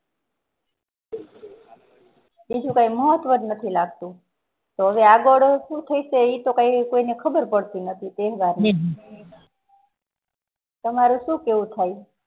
બીજું કાય મહત્તવ નથી લાગતું તોહ હવે આગળ સુ થશે તોહ કાયને સુ થશે ખબર પડતી નથી તહેવારોની તમારું સુ કેહવું